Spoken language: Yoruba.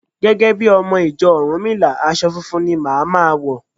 Gẹ́gẹ́ bí ọmọ ìjọ Rúnmìlà, aṣọ funfun ni màá ma wọ̀.